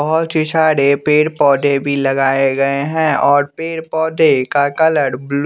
बहोत ही सारे पेड़ पौधे भी लगायें गये है और पेड़ पौधे का कलर ब्लू--